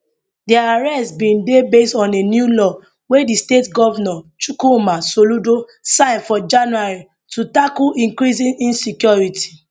dia arrest bin dey based on a new law wey di state govnor chukwuma soludo sign for january to tackle increasing insecurity